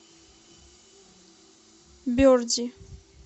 берди